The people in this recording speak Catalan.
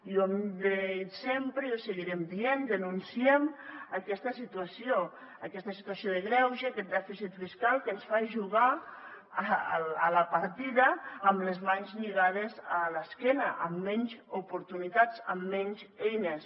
i ho hem dit sempre i ho seguirem dient denunciem aquesta situació aquesta situació de greuge aquest dèficit fiscal que ens fa jugar a la partida amb les mans lligades a l’esquena amb menys oportunitats amb menys eines